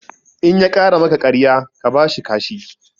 In ya ƙara maka ƙarya ka bashi kashi